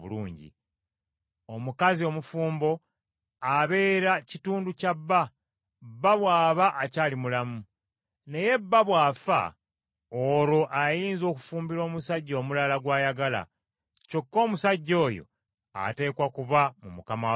Omukazi omufumbo abeera kitundu kya bba, bba bw’aba akyali mulamu. Naye bba bw’afa olwo ayinza okufumbirwa omusajja omulala gw’ayagala, kyokka omusajja oyo ateekwa kuba mu Mukama waffe yekka.